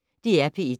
DR P1